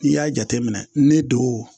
N'i y'a jateminɛ ne don